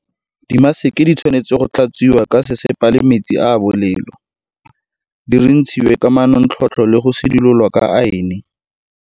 Dimaseke di tshwanetse go tlhatswiwa ka sesepa le metsi a a bolelo, di rintshiwe ka manontlhotlho le go sidilolwa ka aene.